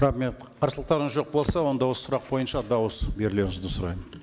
рахмет қарсылықтарыңыз жоқ болса онда осы сұрақ бойынша дауыс берулеріңізді сұраймын